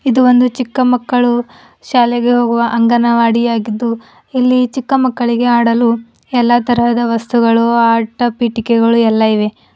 ಇದು ಒಂದು ಚಿಕ್ಕ ಮಕ್ಕಳು ಶಾಲೆಗೆ ಹೋಗುವ ಅಂಗನವಾಡಿಯಾಗಿದ್ದು ಇಲ್ಲಿ ಚಿಕ್ಕ ಮಕ್ಕಳಿಗೆ ಆಡಲು ಎಲ್ಲಾ ತರಹದ ವಸ್ತುಗಳು ಆಟ ಪೀಠಿಕೆಗಳು ಎಲ್ಲ ಇವೆ.